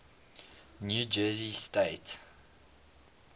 new jersey state